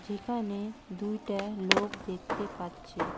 যেখানে দুইটা লোক দেখতে পাচ্ছি।